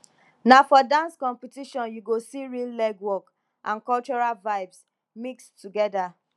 na for dance competition you go see real legwork and cultural vibes mix together